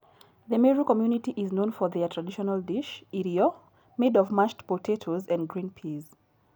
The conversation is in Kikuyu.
The Meru community is known for their traditional dish, irio, made of mashed potatoes and green peas.